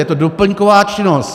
Je to doplňková činnost.